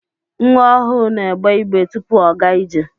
Nwa ọhụụ n'egbe igbe tụpụ ọ gaa ije.